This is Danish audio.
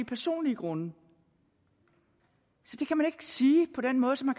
personlige grunde så det kan man ikke sige på den måde som